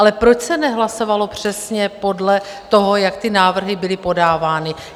Ale proč se nehlasovalo přesně podle toho, jak ty návrhy byly podávány?